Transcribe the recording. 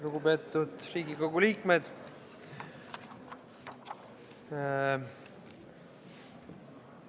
Lugupeetud Riigikogu liikmed!